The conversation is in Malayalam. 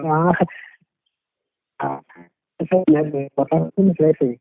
പത്താം ക്ലാസിന് ശേഷോ.